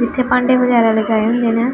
ਜਿੱਥੇ ਭਾਂਡੇ ਵਗੈਰਾ ਲਗਾਏ ਹੁੰਦੇ ਨੇ।